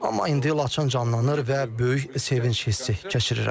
Amma indi Laçın canlanır və böyük sevinc hissi keçirirəm.